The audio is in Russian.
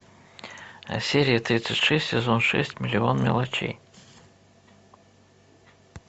серия тридцать шесть сезон шесть миллион мелочей